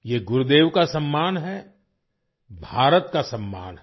ये गुरुदेव का सम्मान है भारत का सम्मान है